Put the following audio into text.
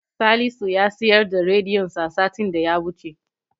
Salisu ya siyar da rediyonsa satin da ya wuce.